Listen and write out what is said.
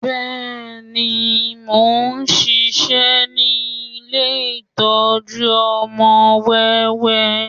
Bẹ́ẹ̀ni, mo ń ṣiṣẹ́ ní ilé ìtọ́jú ọmọ wẹ́wẹ́